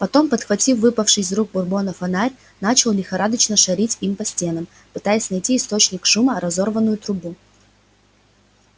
потом подхватив выпавший из рук бурбона фонарь начал лихорадочно шарить им по стенам пытаясь найти источник шума разорванную трубу